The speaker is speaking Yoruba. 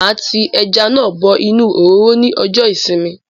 Máa tí ẹja náà bọ inú òróró ní ọjọ ìsinmi